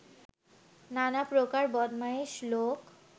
নানা প্রকার বদমায়েশ লোক